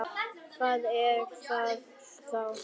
Hvað er það þá?